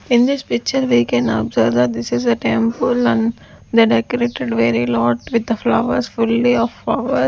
in this picture we can observe that this is a temple and they decorated very lot with the flowers fully of flower .